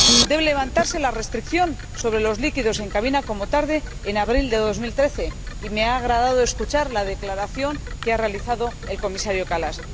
Debe levantarse la restricción sobre los líquidos en cabina como muy tarde en abril de 2013, y me ha agradado escuchar la declaración que ha realizado el Comisario Kallas.